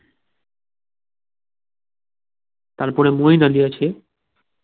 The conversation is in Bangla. তারপরে মইন আলী আছে